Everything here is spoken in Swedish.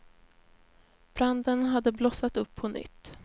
Branden hade blossat upp på nytt.